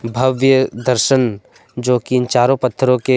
भव्य दर्शन जो कि इन चारों पत्थरों के --